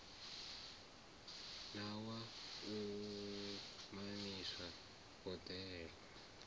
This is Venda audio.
na wa u mamisa boḓelo